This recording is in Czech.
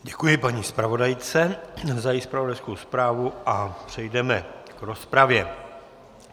Děkuji paní zpravodajce za její zpravodajskou zprávu a přejdeme k rozpravě.